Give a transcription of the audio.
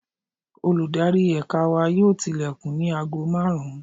Olùdarí Ẹ̀ka wa yóò tilẹ̀kùn ní aago márùn-ún.